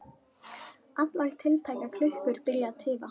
Allar tiltækar klukkur byrja að tifa.